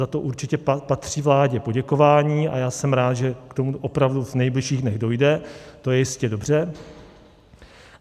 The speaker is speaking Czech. Za to určitě patří vládě poděkování a já jsem rád, že k tomu opravdu v nejbližších dnech dojde, to je jistě dobře.